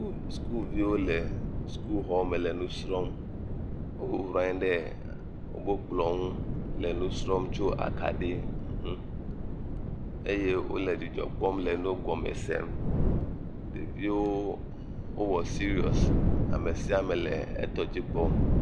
Sukuviwo le suku xɔ me le nusrɔm. Wonɔ anyi ɖe woƒe kplɔ nu le nusrɔ̃m tso akaɖi nu eye wole dzidzɔ kpɔm le nua gɔme sem. Ɖeviawo wowɔ serious. Ame sia ame le eƒe dɔ dzi kpɔm.